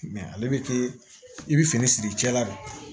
ale bɛ kɛ i bɛ fini siri cɛla la